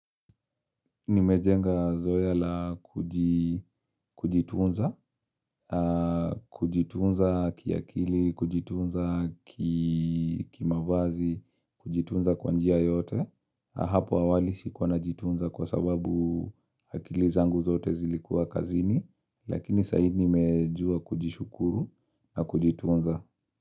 Nimejenga zoea la kujitunza, kujitunza kiakili, kujitunza ki mavazi, kujitunza kwa njia yoyote. Hapo awali sikuwa najitunza kwa sababu akili zangu zote zilikuwa kazini, lakini sai nimejua kujishukuru na kujitunza.